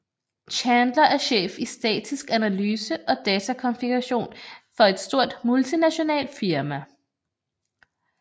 Chandler er chef i statisk analyse og datakonfiguration for et stort multinationalt firma